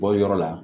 Bɔ yɔrɔ la